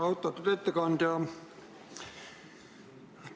Austatud ettekandja!